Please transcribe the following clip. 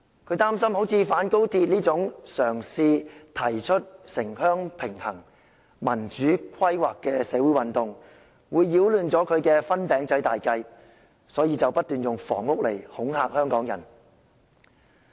他擔心，反高鐵運動這種嘗試提出城鄉平衡、民主規劃的社會運動，會擾亂他的"分餅仔"大計，所以不斷用房屋問題來恐嚇香港人。